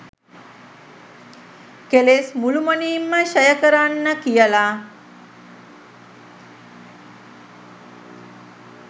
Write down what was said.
කෙලෙස් මුළුමනින්ම ක්ෂය කරන්න කියල.